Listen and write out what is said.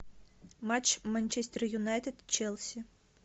матч манчестер юнайтед челси